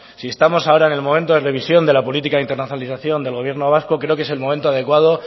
si estamos ahora en el momento de revisión de la política de internacionalización del gobierno vasco creo que es el momento adecuado